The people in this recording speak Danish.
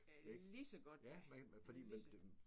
Er lige så godt da. Lige så godt